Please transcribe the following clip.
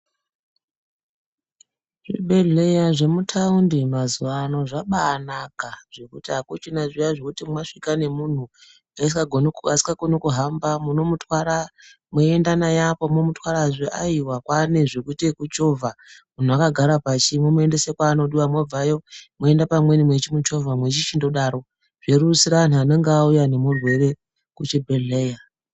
Zvibhedhleya zvemutaundi mazuva ano zvabanaka. Zvekuti hakuchina zviya zvekuti masvika nemuntu asikakoni kuhamba munomutwara moenda naye apo momutwarazve aiva kwane zvekuita yekuchovha muntu akagara pashi. Momuendese kwaanodiva mabvayo moenda pamweni muchimuchovha muchichindodaro zvorerusira antu anenge auya ngemurwere kuchibhedhleya.